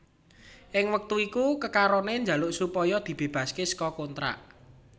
Ing wektu iku kekarone jaluk supaya dibebasake saka kontrak